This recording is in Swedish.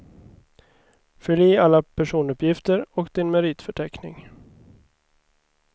Fyll i alla personuppgifter och din meritförteckning.